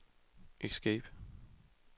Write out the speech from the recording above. escape